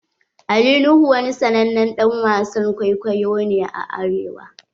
Ali Nuhu wani sannanen dan wasan kwaikwayo ne a arewa.